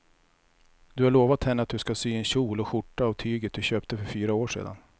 Du har lovat henne att du ska sy en kjol och skjorta av tyget du köpte för fyra år sedan.